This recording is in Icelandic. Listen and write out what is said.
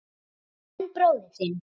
En bróðir þinn.